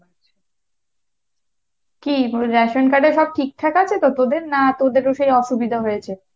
কী ration card এ সব ঠিকঠাক আছে তো তোদের না তোদের ও সে অসুবিধা হয়েছে?